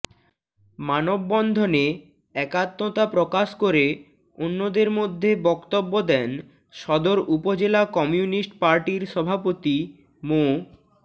মানববন্ধনে একাত্মতা প্রকাশ করে অন্যদের মধ্যে বক্তব্য দেন সদর উপজেলা কমিউনিস্ট পার্টির সভাপতি মো